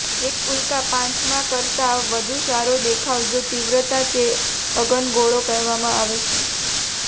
એક ઉલ્કા પાંચમા કરતાં વધુ સારો દેખાવ જો તીવ્રતા તે અગનગોળો કહેવામાં આવે છે